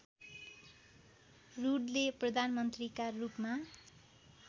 रूडले प्रधानमन्त्रीका रूपमा